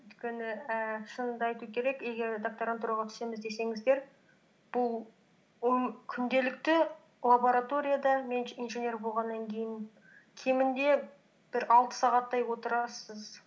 өйткені ііі шынымды айту керек егер докторантураға түсеміз десеңіздер бұл м күнделікті лабораторияда мен инженер болғаннан кейін кемінде бір алты сағаттай отырасыз